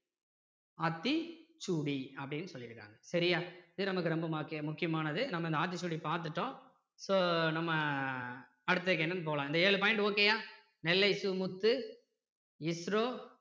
ஆத்திச்சூடி அப்படின்னு சொல்லியிருக்காங்க சரியா இது நமக்கு ரொம்ப முக்கியமானது நம்ம இந்த ஆத்திச்சூடி பார்த்துட்டோம் so நம்ம அடுத்து என்னன்னு போலாம் இந்த ஏழு point okay யா நெல்லை சு முத்து ISRO